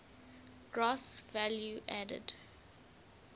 gross value added